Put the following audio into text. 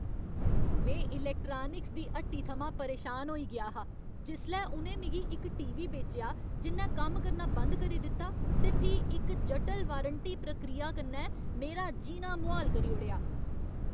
में इलैक्ट्रानिक्स दी हट्टी थमां परेशान होई गेआ हा जिसलै उ'नें मिगी इक टीवी बेचेआ जि'न्नै कम्म करना बंद करी दित्ता ते फ्ही इक जटल वारंटी प्रक्रिया कन्नै मेरा जीना मुहाल करी ओड़ेआ।